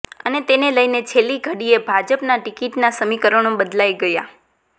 અને તેને લઈને છેલ્લીઘડીએ ભાજપમાં ટિકીટના સમીકરણો બદલાઈ ગયા